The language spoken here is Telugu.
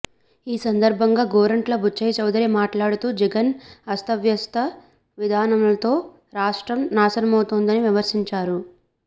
ఈ సందర్భంగా గోరంట్ల బుచ్చయ్యచౌదరి మాట్లాడుతూ జగన్ అస్తవ్యస్త విధానాలతో రాష్ట్రం నాశనమవుతోందని విమర్శించారు